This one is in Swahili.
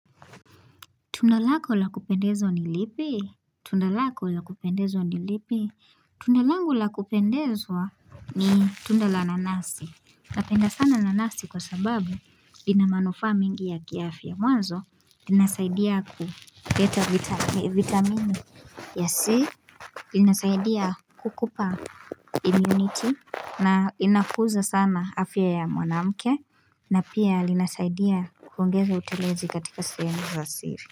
Tunda lako lakupendezwa ni lipi? Tunda lako lakupendezwa ni lipi? Tunda langu lakupendezwa ni tunda la nanasi. Napenda sana nanasi kwa sababu ina manufaa mengi ya kiafya mwanzo. Linasaidia kuleta vitamini ya C. Linasaidia kukupa immunity. Na inakuza sana afya ya mwanamke. Na pia linasaidia kuongeza utelezi katika sehemu za siri.